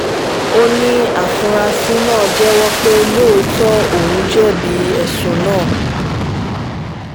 ó ní àfúrásì náà jẹ́wọ́ pé lóòótọ́ òun jẹ̀bi ẹ̀sùn náà